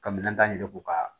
Ka minɛn ta yɛrɛ k'u ka